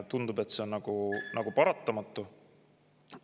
Tundub, et see on nagu paratamatu.